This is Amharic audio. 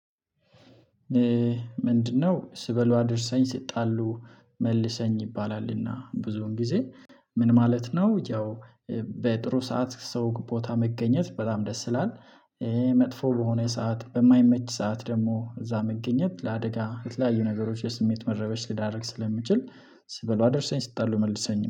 ምንድነው? ስበሉ አድርሰኝ ስጣሉ መልሰኝ ይባላልና ብዙን ጊዜ ምን ማለት ነው። ያው በጥሩ ሰዓት ሰው ቦታ መገኘት በጣም ደስ ይላል። መጥፎ በሆነ ሰዓት በማይመች ሰዓት ደግሞ እዛ መገኘት ለአደጋ የተለያዩ ነገሮች የስሜት መረበሽ ሊዳርግ ስለሚችል ሲበሉ አደርሰኝ ሲጣለ መልሰኝ